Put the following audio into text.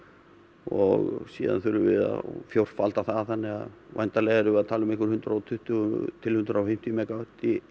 og síðan þurfum við að fjórfalda það þannig að væntanlega erum við að tala um einhver hundrað og tuttugu til hundrað og fimmtíu megavött